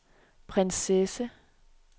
prinsesse